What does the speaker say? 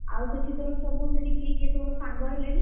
ଆଉ ସେଠି ତୋର ସବୁସେଠି କିଏ କିଏ ସବୁ ସାଙ୍ଗ ହେଲେଣି?